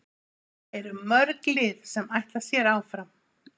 Það eru mörg lið sem ætla sér áfram.